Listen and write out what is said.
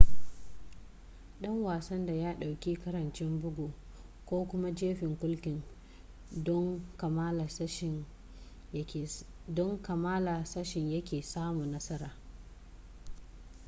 ɗan wasan da ya ɗauki ƙarancin bugu ko kuma jefin kulkin don kammala sashen yake samu nasara